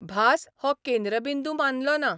भास हो केंद्रबिंदू मानलोना.